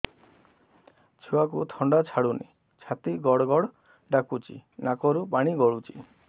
ଛୁଆକୁ ଥଣ୍ଡା ଛାଡୁନି ଛାତି ଗଡ୍ ଗଡ୍ ଡାକୁଚି ନାକରୁ ପାଣି ଗଳୁଚି